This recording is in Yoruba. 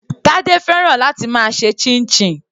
Tade fẹ́ràn láti máa ṣe chinchin.